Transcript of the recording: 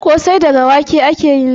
Ƙosai daga wake ake yin sa